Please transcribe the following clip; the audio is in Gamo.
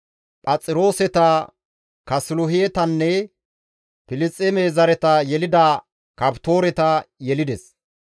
Phaxirooseta, Kaasiluhetanne Filisxeeme zareta yelida Kaftooreta yelides.